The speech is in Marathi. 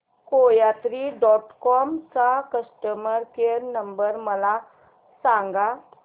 कोयात्री डॉट कॉम चा कस्टमर केअर नंबर मला सांगा